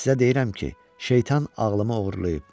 Sizə deyirəm ki, şeytan ağlımı oğurlayıb.